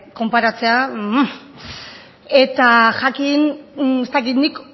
konparatzea eta jakin ez dakit nik